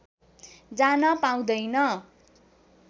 जान पाउँदैन